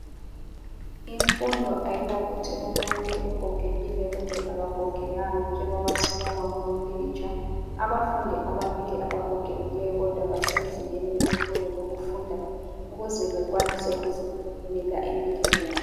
Imfundo ayilakuthi umuntu ugogekile kumbe akagogekanga, njengoba sibona kulompikitsha. Abafundi ababili abagogekileyo kodwa basezingeni lesikolo lokufunda ukuze bakwanise ukuzimela empilweni yabo.